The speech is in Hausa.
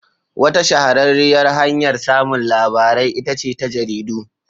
Wata shahararriyar hanyar samun labarai ita ce ta jaridu.